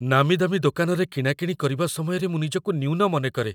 ନାମୀ ଦାମୀ ଦୋକାନରେ କିଣାକିଣି କରିବା ସମୟରେ ମୁଁ ନିଜକୁ ନ୍ୟୁନ ମନେକରେ।